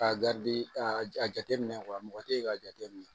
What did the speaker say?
K'a a jateminɛ mɔgɔ tɛ ye k'a jateminɛ